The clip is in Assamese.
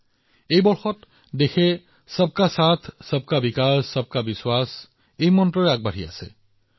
বিগত বছৰবোৰত দেশখনে সবকা সাথ সবকা বিকাশ সবকাবিশ্বাস মন্ত্ৰত আগবাঢ়ি গৈছে